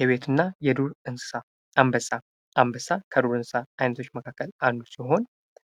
የቤትና የዱር እንሰሳ አንበሳ ከዱር እንሰሳ አይነቶች መካከል አንዱ ሲሆን